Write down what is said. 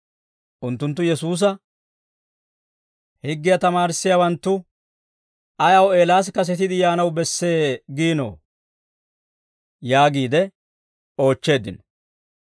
Unttunttu Yesuusa, «Higgiyaa tamaarissiyaawanttu ayaw, ‹Eelaas kasetiide yaanaw bessee› giinoo?» yaagiide oochcheeddino.